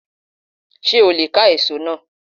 Sé o leè ká èso náà